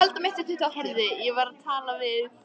Heyrðu, ég var að tala við